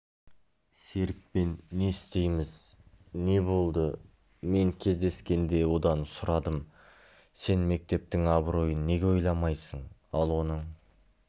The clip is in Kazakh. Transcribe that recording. серікпен не істейміз не болды мен кездескенде одан сұрадым сен мектептің абыройын неге ойламайсың ал оның